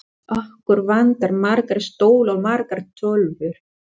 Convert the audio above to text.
Skáld er einhver sem yrkir ljóð.